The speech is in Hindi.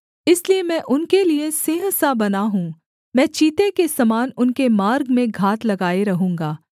इसलिए मैं उनके लिये सिंह सा बना हूँ मैं चीते के समान उनके मार्ग में घात लगाए रहूँगा